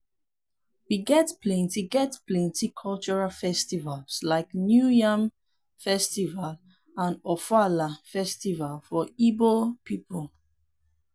we get plenty get plenty cultural festivals like new yam festival and ofoala festival for igbo people.